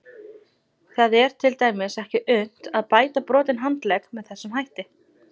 Það er til dæmis ekki unnt að bæta brotinn handlegg með þessum hætti.